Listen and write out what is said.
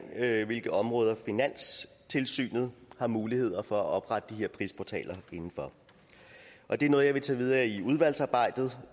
hvilke områder finanstilsynet har mulighed for at oprette de her prisportaler inden for det er noget jeg vil tage videre i udvalgsarbejdet